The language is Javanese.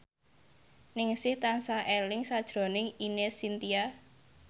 Ningsih tansah eling sakjroning Ine Shintya